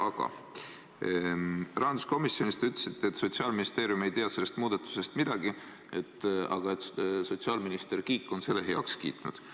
Aga rahanduskomisjonis te ütlesite, et Sotsiaalministeerium ei tea sellest muudatusest midagi, aga et sotsiaalminister Kiik on selle heaks kiitnud.